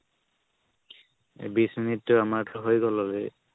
বিশ minute তো এই মাত্ৰ হয় গ'ল already